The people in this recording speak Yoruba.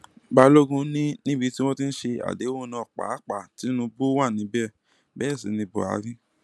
balógun ni níbi tí wọn ti ń ṣe àdéhùn náà pàápàá tinubu wà níbẹ bẹẹ sí ní buhari